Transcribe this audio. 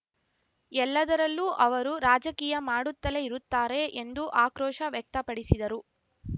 ಎಲ್ಲದರಲ್ಲೂ ಅವರು ರಾಜಕೀಯ ಮಾಡುತ್ತಲೇ ಇರುತ್ತಾರೆ ಎಂದು ಆಕ್ರೋಶ ವ್ಯಕ್ತಪಡಿಸಿದರು